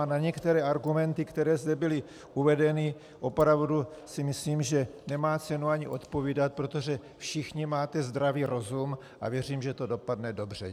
A na některé argumenty, které zde byly uvedeny, opravdu si myslím, že nemá cenu ani odpovídat, protože všichni máte zdravý rozum, a věřím, že to dopadne dobře.